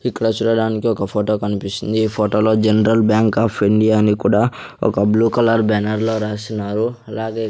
ఇక్కడ చూడడానికి ఒక ఫోటో కనిపిస్తుంది ఈ ఫోటోలో జనరల్ బ్యాంక్ ఆఫ్ ఇండియా అని కూడా ఒక బ్లూ కలర్ బ్యానర్లో రాసినారు అలాగే--